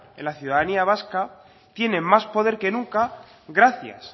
en la ciudadanía vasca tiene más poder que nunca gracias